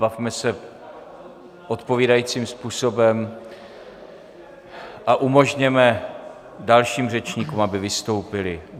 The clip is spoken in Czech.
Bavme se odpovídajícím způsobem a umožněme dalším řečníkům, aby vystoupili.